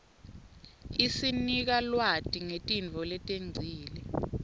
isinika lwati ngetintfo letengcile